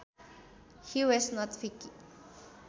He was not picky